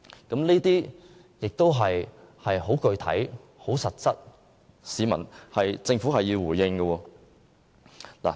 這些都是很具體及實質的問題，政府必須回應。